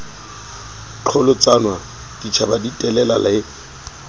qholotsanwa ditjhaba di telela le